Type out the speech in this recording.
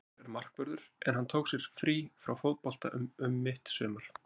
Fannar er markvörður en hann tók sér frí frá fótbolta um mitt sumar.